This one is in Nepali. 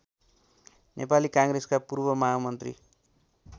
नेपाली काङ्ग्रेसका पूर्वमहामन्त्री